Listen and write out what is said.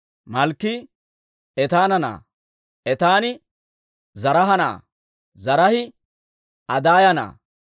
Malkkii Etaana na'aa; Etaani Zaraaha na'aa; Zaraahi Adaaya na'aa;